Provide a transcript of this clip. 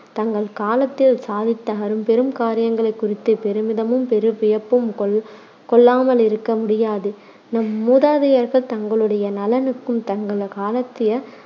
தங்கள் காலத்தில் சாதித்த அரும்பெரும் காரியங்களைக் குறித்துப் பெருமிதமும் பெரு வியப்பும் கொள்~ கொள்ளாமலிருக்க முடியாது. நம் மூதாதையர்கள் தங்களுடைய நலனுக்கும் தங்கள் காலத்திய